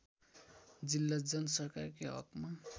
जिल्ला जनसरकारकै हकमा